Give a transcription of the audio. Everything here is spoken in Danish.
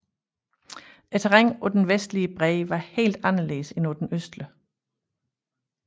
Terrænet på den vestlige bred var helt anderledes end på den østlige